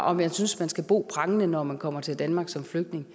om jeg synes man skal bo prangende når man kommer til danmark som flygtning